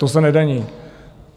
To se nedaní.